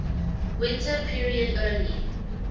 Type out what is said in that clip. winter period early